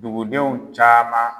Dugudenw caman.